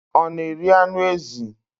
Ọ na-eri anụ ezi?